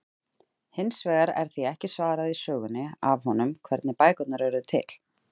Hins vegar er því ekki svarað í sögunni af honum, hvernig bækurnar urðu til!?